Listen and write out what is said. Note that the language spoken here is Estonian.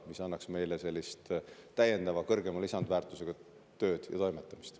See annaks meile täiendavalt kõrgema lisandväärtusega tööd ja toimetamist.